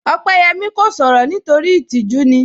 Opeyẹmi kò sọ̀rọ̀ nítorí itíjú ni